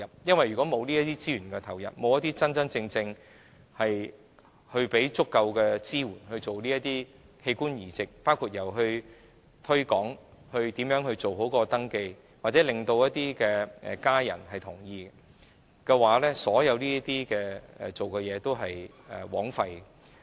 因為如果沒有資源投入，沒有提供足夠支援，包括推廣器官捐贈、如何做好登記或令捐贈者家人同意等所有工夫，也都是枉費的。